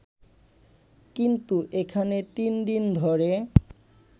কিন্তু এখানে তিন দিন ধরে